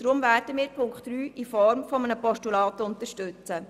Deshalb werden wir Punkt 3 in Form eines Postulats unterstützen.